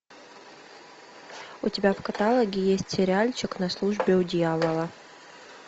у тебя в каталоге есть сериальчик на службе у дьявола